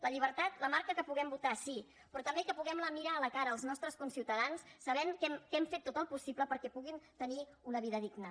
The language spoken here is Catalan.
la llibertat la marca que puguem votar sí però també que puguem mirar a la cara els nostres conciutadans sabent que hem fet tot el possible perquè puguin tenir una vida digna